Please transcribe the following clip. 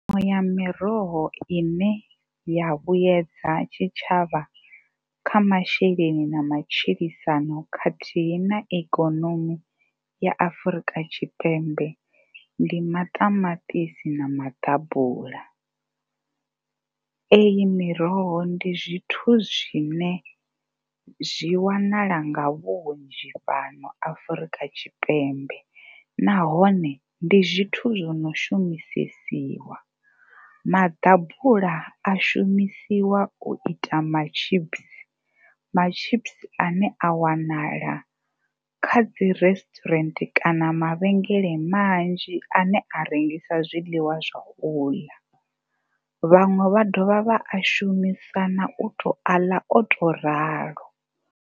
Iṅwe ya miroho i ne ya vhuyedza tshitshavha kha masheleni na matshilisano khathihi na ikonomi ya Afrika Tshipembe ndi maṱamaṱisi na maḓabula. Iyi miroho ndi zwithu zwine zwi wanala nga vhunzhi fhano Afrika Tshipembe nahone ndi zwithu zwo no shumisesiwa. Maḓabula a shumisiwa u ita matshipisi, matshipisi a ne a wanala kha dzi resturant kana mavhengele manzhi a ne a rengisa zwiḽiwa zwa u ḽa. Vhaṅwe vha dovha vha a shumisa na u tou a ḽa o tou ralo.